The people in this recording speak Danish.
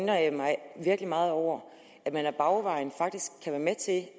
jeg mig virkelig meget over at man ad bagvejen faktisk kan være med til